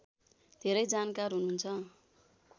धेरै जानकार हुनुहुन्छ